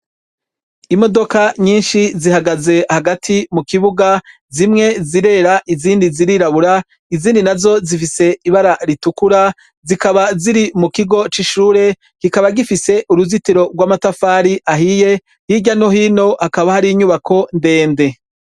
Imodoka nyinshi zihagaze hagati mukibuga zimwe zirera izindi zirirabura izindi nazo zifise ibara ritukura zikaba ziri mukigo cishure kikaba zifise uruzitiro rwamatafari ahiye hirya no hino hakaba hari inyubako ndende